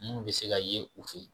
Munnu bɛ se ka yen u fe yen